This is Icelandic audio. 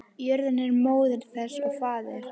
Jörðin er móðir þess og faðir.